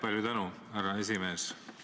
Palju tänu, härra esimees!